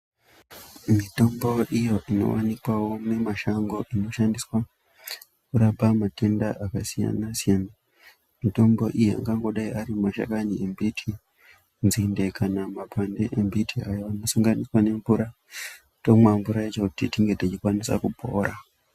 Mitombo iyo inovanikwavo mimashango inoshandiswa kurapa matenda akasiyana-siyana. Mitombo iyi angango dai ari mashakani embiti, nzinde kana makwande emiti. Ayo anosanganiswa nemvura tomwa mvura yacho kuti tinge tichikwanisa kupora.